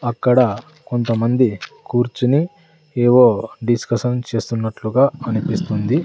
అక్కడ కొంతమంది కూర్చుని ఏవో డిస్కషన్ చేస్తున్నట్లుగా అనిపిస్తుంది.